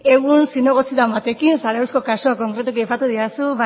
egun zinegotzi bat den batekin zarauzko kasua konkretuki aipatu didazu